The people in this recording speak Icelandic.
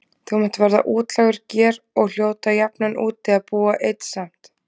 Þú munt verða útlægur ger og hljóta jafnan úti að búa einn samt.